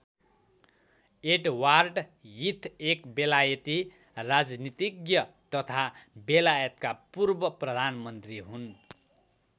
Edward Heath एक बेलायती राजनीतिज्ञ तथा बेलायतका पूर्व प्रधानमन्त्री हुन्।